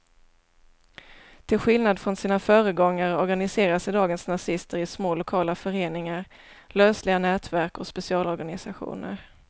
Till skillnad från sina föregångare organiserar sig dagens nazister i små lokala föreningar, lösliga nätverk och specialorganisationer.